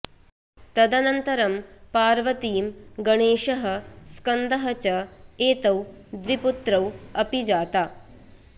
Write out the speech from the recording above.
तदनन्तरं पार्वतीं गणेशः स्कन्दः च एतौ द्विपुत्रौ अपि जाता